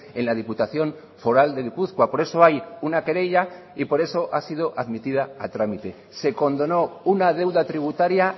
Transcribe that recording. en la diputación foral de gipuzkoa por eso hay una querella y por eso ha sido admitida a trámite se condonó una deuda tributaria